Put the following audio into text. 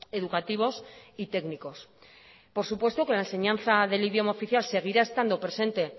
educativos y técnicos por supuesto que la enseñanza del idioma oficial seguirá estando presente